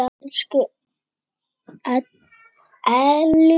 Elsku Ellý amma.